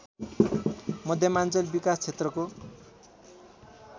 मध्यमाञ्चल विकासक्षेत्रको